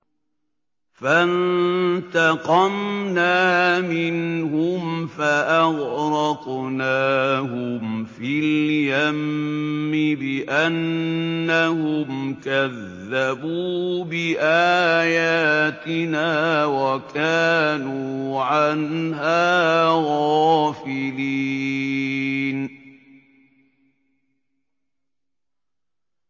فَانتَقَمْنَا مِنْهُمْ فَأَغْرَقْنَاهُمْ فِي الْيَمِّ بِأَنَّهُمْ كَذَّبُوا بِآيَاتِنَا وَكَانُوا عَنْهَا غَافِلِينَ